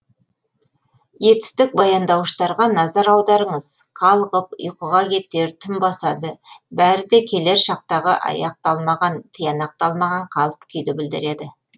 етістік баяндауыштарға назар аударыңыз қалғып ұйқыға кетер түн басады бәрі де келер шақтағы аяқталмаған тиянақталмаған қалып күйді білдіреді